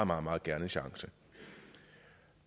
meget meget gerne en chance